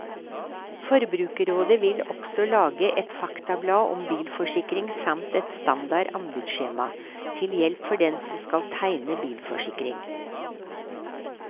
Forbrukerrådet vil også lage et faktablad om bilforsikring samt et standard anbudsskjema, til hjelp for dem som skal tegne bilforsikring.